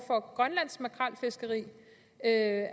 for grønlands makrelfiskeri er